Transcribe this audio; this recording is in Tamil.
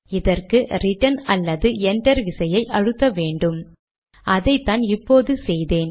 எனுமெரேட் ஆக இதை மாற்றுகிறேன்